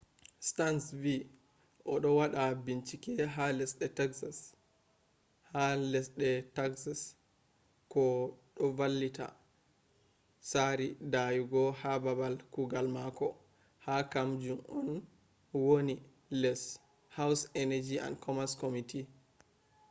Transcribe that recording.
stearns vi o do wada binchike ha lesde taxes ko do vanlita sari dayugo ha babal kugal mako ha ,kam jun on wani les house energy and commerce committee